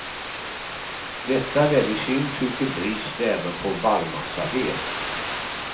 Detta ledde i sin tur till brist även på barrmassaved.